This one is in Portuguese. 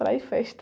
Praia e festa.